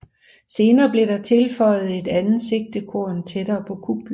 Senere blev der tilføjet et andet sigtekorn tættere på kuplen